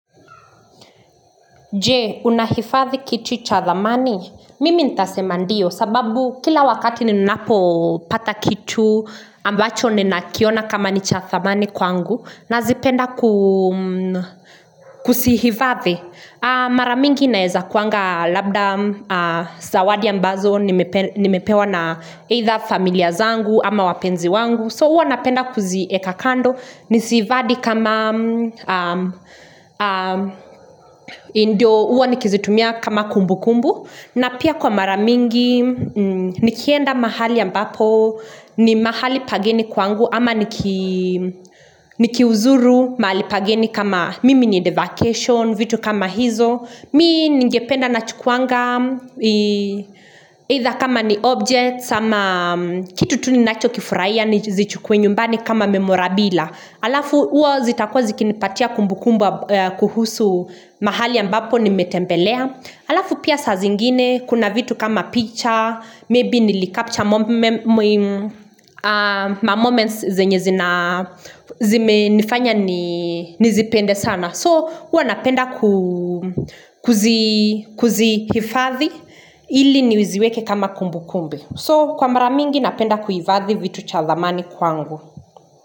Je, unahifadhi kitu cha thamani? Mimi nitasema ndio sababu kila wakati ninapo pata kitu ambacho ninakiona kama ni cha thamani kwangu nazipenda kuzihifadhi. Mara mingi naeza kuanga labda zawadi ambazo nimepewa na either familia zangu ama wapenzi wangu. So huwa napenda kuzieka kando, niziifadhi kama, ndio uwa nikizitumia kama kumbu kumbu, na pia kwa mara mingi, nikienda mahali ambapo, ni mahali pageni kwangu, ama nikiuzuru mahali pageni kama mimi ni vacation, vitu kama hizo. Mimi ningependa nachukuanga either kama ni object sama kitu tu ninacho kifurahia nizichukue nyumbani kama memorabila. Alafu huwa zitakwa zikinipatia kumbukumbu kuhusu mahali ambapo nimetembelea. Alafu pia sa zingine kuna vitu kama picha, maybe nilicupture moments zenye zina nifanya nizipende sana. So huwa napenda kuzihifadhi ili niziweke kama kumbu kumbu So kwa mara mingi napenda kuifadhi vitu cha thamani kwangu.